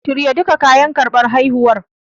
Shirya duka kayan karɓar haihuwar.